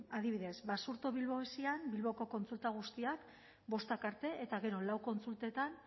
adibidez basurto bilbo esin bilboko kontsulta guztiak bostak arte eta gero lau kontsultetan